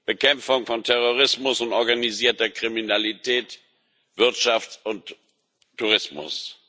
Bekämpfung von Terrorismus und organisierter Kriminalität, Wirtschaft und Tourismus.